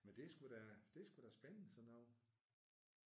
Men det er sgu da det er sgu da spændende sådan noget